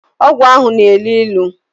Ogwu ahu na-elu ilu